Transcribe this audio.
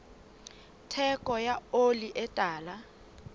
theko ya oli e tala